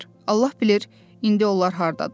Allah bilir, indi onlar hardadırlar.